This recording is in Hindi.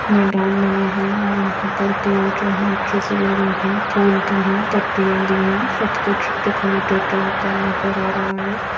मैदान बना है और यहां पर पेड़ जो है अच्छे से लगे हैं फूल भी हैं पत्तियां भी हैं सब कुछ दिखाई देता हुआ नजर आ रहा है।